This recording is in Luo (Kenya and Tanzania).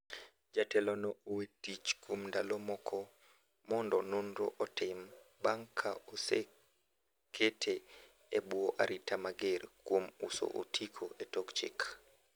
Jatelo no owee tich kuom ndalo moko mondo nonro otim bang' ka osekete e bwo arita mager kuom uso otiko e tok chik.